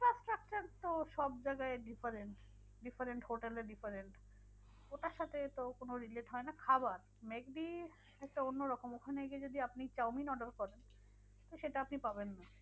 তো সবজায়গায় different, different হোটেলে different ওটার সাথে তো কোনো relate হয় না খাবার। ম্যাকডি একটা অন্য রকম। ওখানে গিয়ে যদি আপনি চাউমিন order করেন, তো সেটা আপনি পাবেন না।